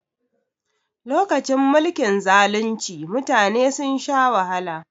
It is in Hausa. Lokacin mulkin zalunci mutane sun sha wahala